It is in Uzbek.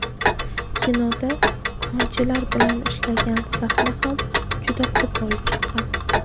Kinoda konchilar bilan ishlangan sahna ham juda qo‘pol chiqqan.